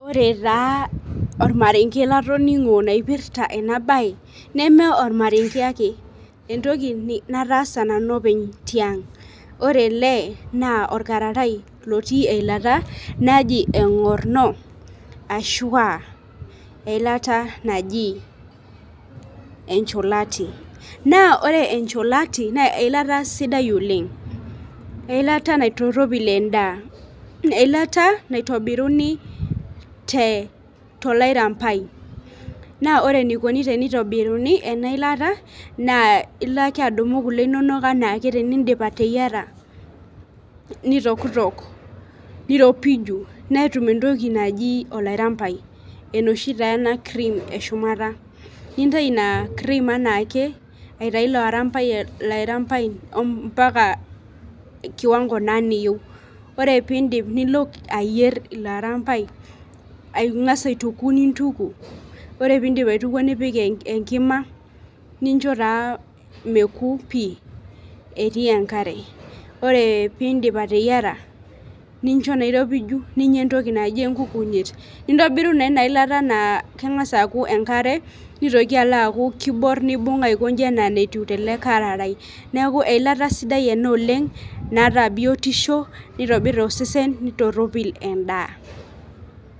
Ore taa ormarenke latiningo loipirta ena bae, neme ormarenke entoki naatasa nanu openy tiang', ore ele, naa orkararai lotii eilata naji egorno ashu aa eilata naji encholati, naa ore encholati naa eilata sidai oleng, eilata naitoropil edaa eilata naitobiruni tolairampai, naa ore enikoni tenitobiruni ena ilata naa ilo ake adumu kule inonok, anaake tenidip ateyiara, nitokitok, niropiju, netum entoki naji olarampai, enoshi taa ena cream eshumata, nintayu ina cream anaake aitayu ilo arampai mpaka kiwango, naa niyieu, ore pee iidip nilo ayier ilo arampai, angas aituku nintuku, ore pee iidip aitukuo nipik enkima nincho taa mekuo pii etii enkare, ore pee iidip ateyiara, nincho naa iropiju, nincho entoki naji enkikunyet, nintobiru naa inailat naa keng'as alo aaku, enkare , neeku eilata sidai ena oleng, naata biotisho nitobir osesen naitoropil edaa